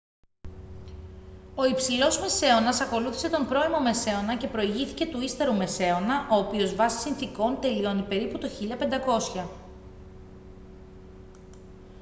ο υψηλός μεσαίωνας ακολούθησε τον πρώιμο μεσαίωνα και προηγήθηκε του ύστερου μεσαίωνα ο οποίος βάσει συνθηκών τελειώνει περίπου το 1500